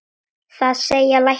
Það segja læknar.